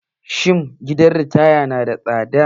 Shin gidan ritaya na da tsada?